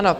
Ano.